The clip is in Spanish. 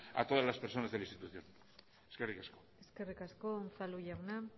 a todas las personas de la institución eskerrik asko eskerrik asko unzalu jauna